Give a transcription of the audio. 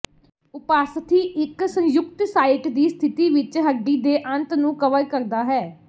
ਉਪਾਸਥੀ ਇੱਕ ਸੰਯੁਕਤ ਸਾਈਟ ਦੀ ਸਥਿਤੀ ਵਿੱਚ ਹੱਡੀ ਦੇ ਅੰਤ ਨੂੰ ਕਵਰ ਕਰਦਾ ਹੈ